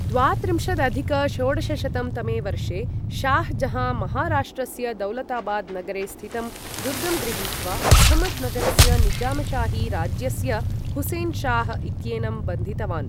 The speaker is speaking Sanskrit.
द्वात्रिंशदधिक षोडशशतं तमे वर्षे शाह् जहाँ महाराष्ट्रस्य दौलताबाद् नगरे स्थितं दुर्गं गृहीत्वा अहमद् नगरस्य निजामशाही राज्यस्य हुसेन् शाह् इत्येनं बन्धितवान्।